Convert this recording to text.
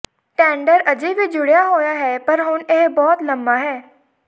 tender ਅਜੇ ਵੀ ਜੁੜਿਆ ਹੋਇਆ ਹੈ ਪਰ ਹੁਣ ਇਹ ਬਹੁਤ ਲੰਮਾ ਹੈ